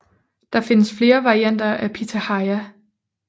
Der findes flere varianter af pitahaya